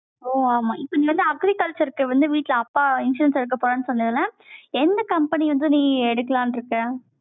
ஓ, ஆமா, இப்ப வந்து agriculture க்கு வந்து, வீட்டுல அப்பா insurance எடுக்கப் போறான்னு சொன்னதுல, எந்த company வந்தும் நீ எடுக்கலான்னு இருக்கேன்